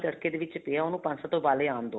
ਤੜਕੇ ਦੇ ਵਿੱਚ ਪਇਆ ਉਹਨੂੰ ਪੰਜ ਸੱਤ ਉਬਾਲੇ ਆਣ ਦੋ